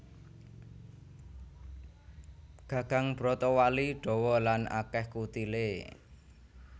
Gagang brotowali dawa lan akèh kutilé